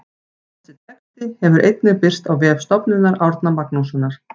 Þessi texti hefur einnig birst á vef Stofnunar Árna Magnússonar.